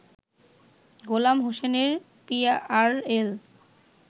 গোলাম হোসেনের পিআরএল